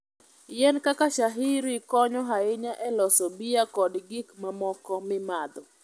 Yien kaka shayiri konyo ahinya e loso bia kod gik mamoko mimadho.